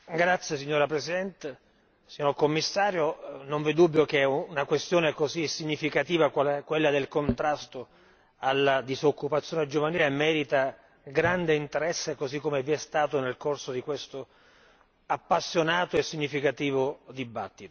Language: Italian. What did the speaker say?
Signora Presidente, signor Commissario, non v'è dubbio che una questione così significativa qual è quella del contrasto alla disoccupazione giovanile merita grande interesse, così com'è stato nel corso di questo appassionato e significativo dibattito.